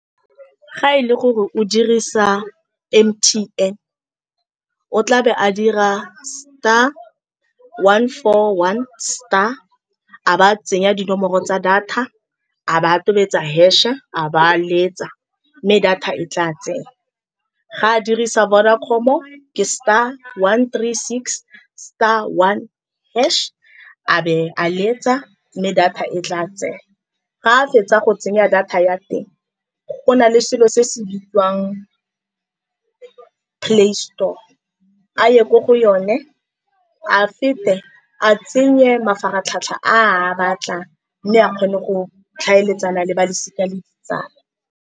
Fa e le gore o dirisa M_T_N, o tlabe a dira star one four one star, a ba tsenya dinomoro tsa data, a ba a tobetsa hash-e, a ba a letsa, mme data e tla tsena. Ga a dirisa Vodacom-o, ke star one tree six star one hash, a be a le etsa, mme data e tla tsena. Ga a fetsa go tsenya data ya teng, go na le selo se se bidiwang Play Store, a ye ko go yone, a fete a tsenye mafaratlhatlha a a batla, mme a kgone go tlhaeletsana le balosika le ditsala.